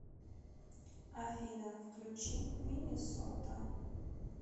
афина включи минисота